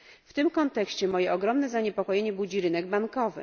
W tym kontekście moje ogromne zaniepokojenie budzi rynek bankowy.